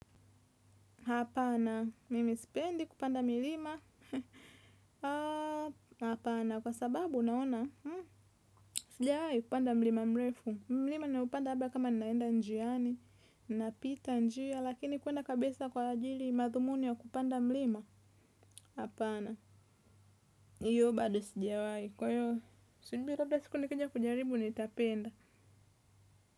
Hapana, mimi sipendi kupanda milima hapana, kwa sababu unaona sijiawai kupanda mlima mrefu mlima niupanda hapa kama ninaenda njiani napita njia, lakini kwenda kabisa kwa ajili madhumuni ya kupanda mlima, hapana. Hiyo bado sijawai, kwa hiyo saa ingine labda siku nikija kujaribu nitapenda.